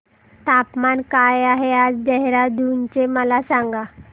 तापमान काय आहे आज देहराडून चे मला सांगा